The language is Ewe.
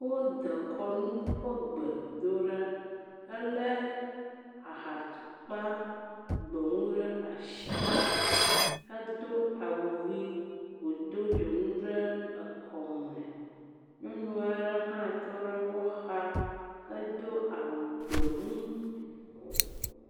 wó dekɔnu ƒe gbe dó ɖa hele ha tukpa gbemu ɖe asi hedó awu ɣi wodó dzoŋu ɖe ekɔme nyɔnua'ɖe hã tɔɖe wó xa hedó awu gbemu